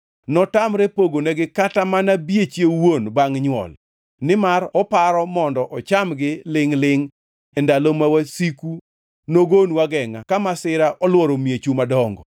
Notamre pogonegi kata mana bieche owuon bangʼ nywol, nimar oparo mondo ochamgi lingʼ-lingʼ e ndalo ma wasiku nogonu agengʼa ka masira olworo miechu madongo.